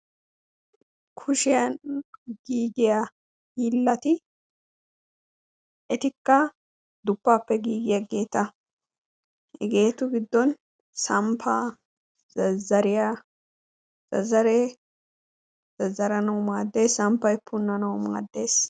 Kushshiyan giiggiya hiilati etikka duppaappe giigiyaageeta hegeetu giddon samppaa, zazzariya, zazzaree, zazzaranawu maaddees, samppay punanawu maaddees.